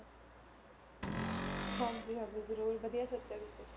ਹਾਂਜੀ ਹਾਂਜੀ ਜ਼ਰੂਰ ਵਧੀਆ ਸੋਚਿਆ ਤੁਸੀਂ।